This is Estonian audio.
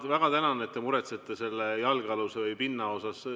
Ma väga tänan, et te muretsete selle jalgealuse või pinna pärast.